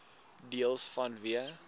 deels vanweë